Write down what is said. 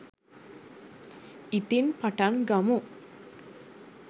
ඉතිං පටන් ගමු